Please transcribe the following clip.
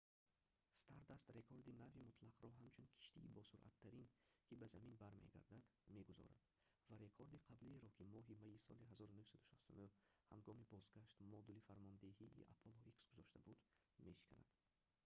stardust рекорди нави мутлақро ҳамчун киштии босуръаттарин ки ба замин бармегардад мегузорад ва рекорди қаблиеро ки моҳи майи соли 1969 ҳангоми бозгашт модули фармондеҳии apollo x гузошта буд мешиканад